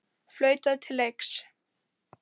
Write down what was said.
Flautað til leiks.